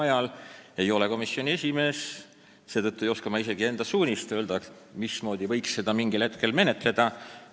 Ma ei ole komisjoni esimees, seetõttu ei oska ma öelda, mismoodi see võiks minna.